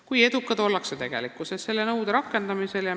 Kui edukad ollakse tegelikkuses selle nõude rakendamisel?